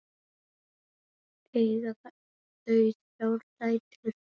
Eiga þau þrjár dætur.